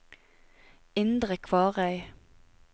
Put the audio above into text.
Indre Kvarøy